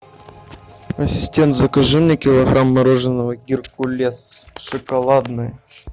ассистент закажи мне килограмм мороженого геркулес шоколадное